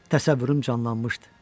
Təsəvvürüm canlanmışdı.